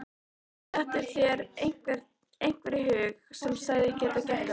Dettur þér einhver í hug sem hefði getað gert þetta?